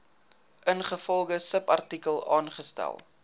ingevolge subartikel aangestel